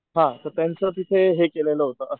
हा तर त्यांचं तिथे हे केलेलं होत,